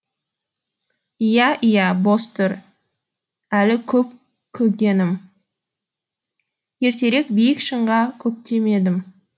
иә иә бос тұр әлі көп көгенім ертерек биік шыңға көктемедім